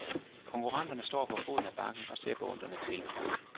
Konkurrenterne står for foden af bakken og ser beundrende til.